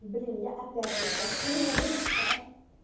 блин я опять вот открыла этот шкаф